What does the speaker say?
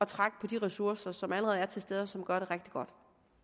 trække på de ressourcer som allerede er til stede og som gør det rigtig godt